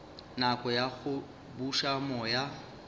nako ya go buša moya